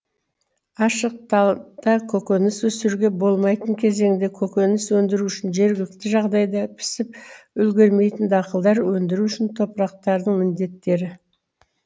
ашық танапта көкөніс өсіруге болмайтын кезеңде көкөніс өндіру үшін жергілікті жағдайда пісіп үлгермейтін дақылдар өндіру үшін топырақтардың міндеттері